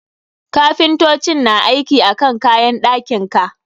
Kapintocin na aiki akan kayan ɗakin ka.